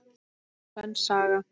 Sönn saga.